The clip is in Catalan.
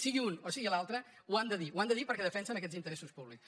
sigui un o sigui l’altre ho han de dir ho han de dir perquè defensen aquests interessos públics